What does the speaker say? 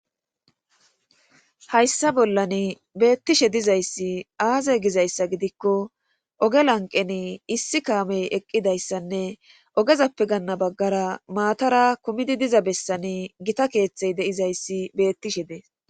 hayssa bollan beettishe dizayssi aaze gizayssa gidikko oge lanqen issi kaamey eqqidayssanne ogezappe ganna baggara maatara kumidi diza bessani gita keeththey deizayssi beettishe dees.